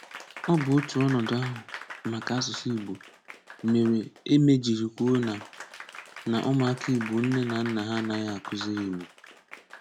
Ọ bụ otu ọnọdụ ahụ maka asụsụ Igbo, mere Eme jiri kwuo na na ụmụaka Igbo nne na nna ha anaghị akuziri Igbo.